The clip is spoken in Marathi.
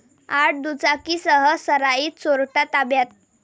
आठ दुचाकींसह सराईत चोरटा ताब्यात